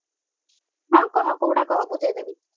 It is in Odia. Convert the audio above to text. ହଁ କହ କୋଉଟା କହ ବୁଝେଇ ଦେବି